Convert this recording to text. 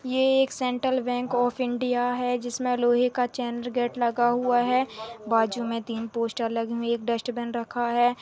ये एक central bank of India है जिस मे लोहे का चेन गेट लगा हुआ है बाजू मे तीन पोस्टर लगी हुई है एक डस्ट्बिन रखा है।